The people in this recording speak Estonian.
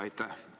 Aitäh!